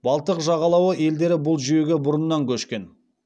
балтық жағалауы елдері бұл жүйеге бұрыннан көшкен